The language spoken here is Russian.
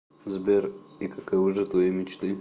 сбер и каковы же твои мечты